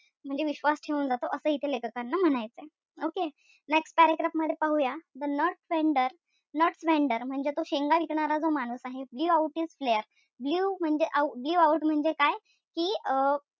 म्हणजे विश्वास ठेऊन जातो असं इथे लेखकांना म्हणायचंय okay? Next paragraph मध्ये पाहूया The nut vendor nuts vendor म्हणजे तो शेंगा विकणारा जो माणूस आहे blew out his flare blew म्हणजे blew out म्हणजे काय? कि अं